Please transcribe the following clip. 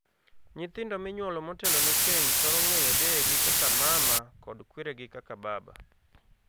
Nyithindo minyuolo motelone keny thoro ng'eyo deyegi kaka 'mama' kod kweregi kaka 'baba'.